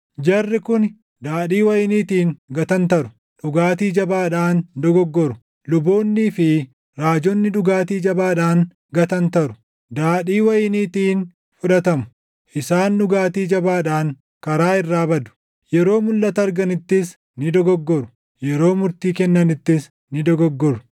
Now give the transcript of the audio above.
Jarri kuni daadhii wayiniitiin gatantaru; dhugaatii jabaadhaan dogoggoru; luboonnii fi raajonni dhugaatii jabaadhaan gatantaru; daadhii wayiniitiin fudhatamu; isaan dhugaatii jabaadhaan karaa irraa badu; yeroo mulʼata arganittis ni dogoggoru; yeroo murtii kennanittis ni dogoggoru.